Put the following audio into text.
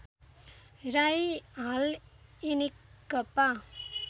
राई हाल एनेकपा